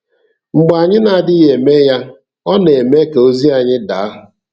Mgbe anyị na-adịghị eme ya, ọ na-eme ka ozi anyị daa.